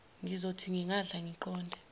ngizothi ngingadla ngiqonde